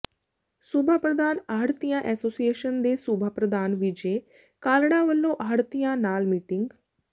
ਸੂਬਾ ਪ੍ਰਧਾਨ ਆੜ੍ਹਤੀਆ ਐਸੋਸੀਏਸ਼ਨ ਦੇ ਸੂਬਾ ਪ੍ਰਧਾਨ ਵਿਜੇ ਕਾਲੜਾ ਵੱਲੋਂ ਆੜ੍ਹਤੀਆਂ ਨਾਲ ਮੀਟਿੰਗ